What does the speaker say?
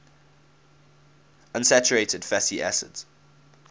unsaturated fatty acids